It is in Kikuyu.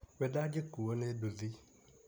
We ndangĩkuo ni nduthi.